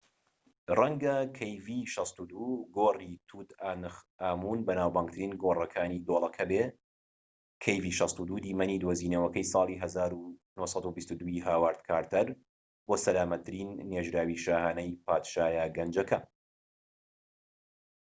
گۆڕی توت ئانتخامون kv62. ڕەنگە kv62 بەناوبانگترین گۆڕەکانی دۆڵەکە بێت، دیمەنی دۆزینەوەکەی ساڵی 1922ی هاوارد کارتەر بۆ سەلامەتترین نێژراوی شاھانەیی پادشایە گەنجەکە